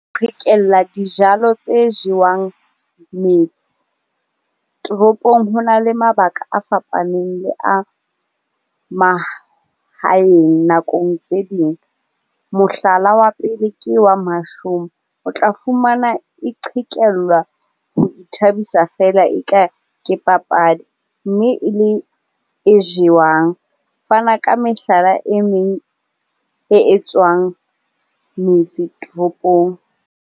Qhekella dijalo tse jewang metse. Toropong ho na le mabaka a fapaneng le a mahaeng nakong tse ding. Mohlala wa pele ke wa mashome, o tla fumana e qhekellwa ho ithabisa feela e ka ke papadi mme e le e jewang. Fana ka mehlala e meng e etswang metse toropong.